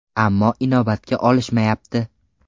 Ammo inobatga olishmayapti.